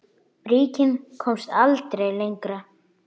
Bríkin komst aldrei lengra.